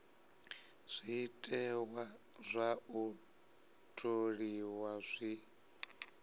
zwiteṅwa zwa u tholiwa zwi